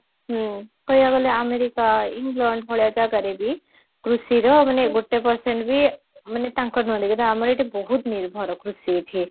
ହୁଁ କହିବାକୁ ଗଲେ ଆମେରିକା ଇଂଲଣ୍ଡ ଭଳିଆ ଜାଗାରେ ବି କୃଷିର ମାନେ ଗୋଟେ percent ବି ମାନେ ତାଙ୍କର ନୁହନ୍ତି କିନ୍ତୁ ଆମର ଏଠି ବହୁତ ନିର୍ଭର କୃଷି ଏଠି